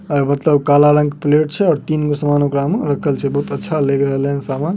और मतलब काला रंग के प्लेट छै और तीन गो ओकड़ा में सामान रखल छै। बहुत अच्छा लेग रहले हैन सामान।